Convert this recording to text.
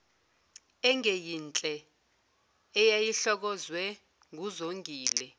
engeyinhle eyayihlokozwe nguzongile